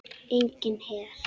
Enginn her.